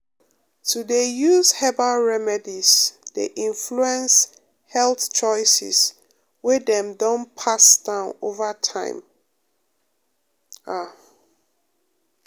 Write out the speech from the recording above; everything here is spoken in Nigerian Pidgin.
to dey use herbal remedies um dey influence health choices wey dem um don pass down over time pause um ah